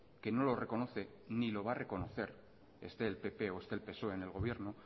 que no lo reconoce ni lo va ha reconocer esté el pp o esté el psoe en el gobierno